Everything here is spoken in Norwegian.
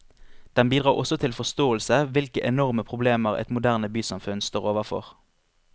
Den bidrar også til forståelse hvilke enorme problemer et moderne bysamfunn står overfor.